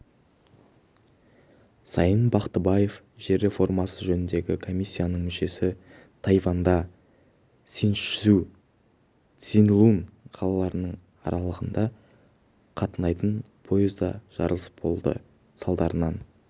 сайын бақтыбаев жер реформасы жөніндегі комиссияның мүшесі тайваньда синьчжу-цзилун қалаларының аралығында қатынайтын поезда жарылыс болды салдарынан